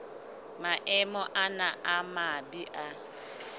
maemo ana a mabe a